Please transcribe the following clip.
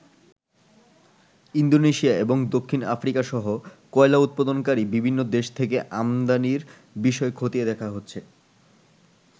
Indonesia এবং দক্ষিণ আফ্রিকাসহ কয়লা উৎপাদনকারী বিভিন্ন দেশ থেকে আমদানির বিষয় খতিয়ে দেখা হচ্ছে।